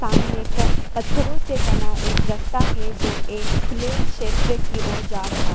सामने एक पत्थरों से बना एक रास्ता है जो एक खुले क्षेत्र की ओर जा रहा है।